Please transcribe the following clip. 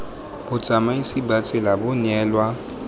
botsamaisi ba tsela bo neelwa